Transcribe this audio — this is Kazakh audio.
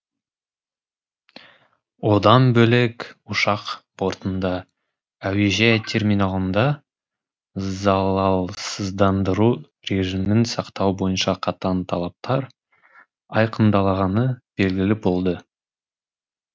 одан бөлек ұшақ бортында әуежай терминалында залалсыздандыру режимін сақтау бойынша қатаң талаптар айқындалғаны белгілі болды